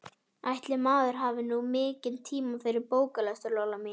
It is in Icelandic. Ætli maður hafi nú mikinn tíma fyrir bóklestur, Lolla mín.